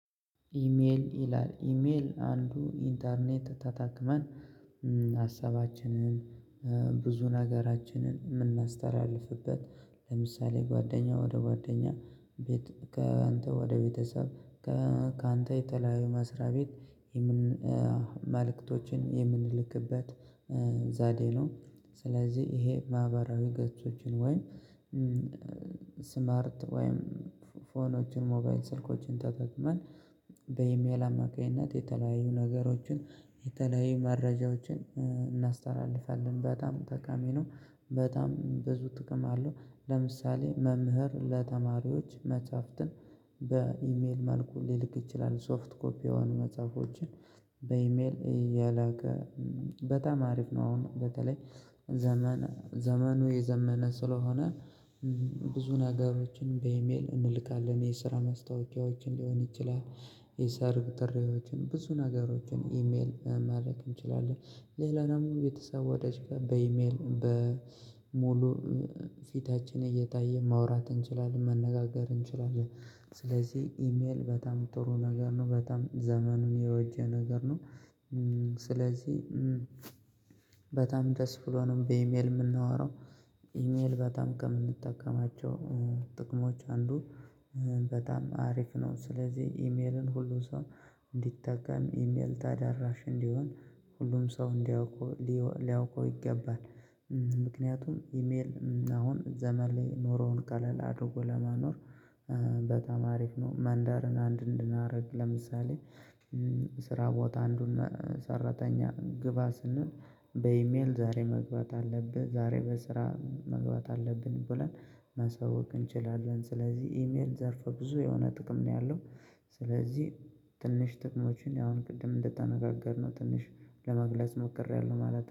ኢሜል ይላል ኢሜል አንዱ ኢንተርኔት ተተክመን ሀሳባችንን ብዙ ነገራችንን የምናስተላልፍበት ለምሳሌ ጓደኛ ወደ ጓደኛ ከአንተ ወደ ቤተሰብ ካንተ የተለያዩ መስሪያ ቤት መልእክቶችን የምንልክበት ዘዴ ነው። ስለዚህ ይሄ ማህበራዊ ገጾችን ወይ ወይም ስማርት ወይም ፎኖችን ሞባይል ስልኮችን ተጠቅመን በኢሜል አማካኝነት የተለያዩ ነገሮችን የተለያዩ መረጃዎችን እናስተላልፋለን በጣም ጠቃሚ ነው በጣም ብዙ ጥቅም አለው። ለምሳሌ መምህር ለተማሪዎች መጻፍትን በኢሜል መልኩ ሊልክ ይችላል ሶፍት ኮፒ የሆኑ መጽሐፎችን በኢሜል የላከ በጣም አሪፍ ነው። አሁን በተለይ ዘመን ዘመኑ የዘመነ ስለሆነ ብዙ ነገሮችን በኢሜል እንልካለን የስራ ማስታወቂያዎችን ሊሆን ይችላል። የሰርግ ጥሪዎችን ብዙ ነገሮችን ኢሜል ማድረግ እንችላለን ሌላናም ቤተሰብ ወዳጅ ጋር በኢሜል በሙሉ ፊታችን እየታየ ማውራት እንችላለን መነጋገር እንችላለን። ስለዚህ ኢሜል በጣም ጥሩ ነገር ነው በጣም ዘመኑን የወጀ ነገር ነው። ስለዚህ በጣም ደስ ብሎ ነው በኢሜል የምናወራው ኢሜል በጣም ከምንጠቀማቸው ጥቅሞች አንዱ በጣም አሪፍ ነው። ስለዚህ ኢሜልን ሁሉ ሰው እንዲጠቀም ኢሜል ታዳራሽ እንዲሆን ሁሉም ሰው እንዲያውቀው ሊያውቀው ይገባል። ምክንያቱም ኢሜል አሁን ዘመን ላይ ኖሮውን ቀለል አድርጎ ለማኖር በጣም አሪፍ ነው። ማንዳርን አንድ እንድናደርግ ለምሳሌ ስራ ቦታ አንዱን ሰራተኛ ግባ ስንል በኢሜል ዛሬ መግባት አለብህ ዛሬ በስራ መግባት አለብን ብለን ማሳወቅ እንችላለን ስለዚህ ኢሜል ዘርፈ ብዙ የሆነ ጥቅም ነው ያለው። ስለዚህ ትንሽ ጥቅሞችን ያሁን ቅድም እንደተነጋገርነው ትንሽ ለመግለጽ ሞክሬያለሁ ማለት ነው